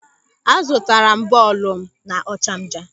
A zụtara m bọọlụ m n'Ọchanja.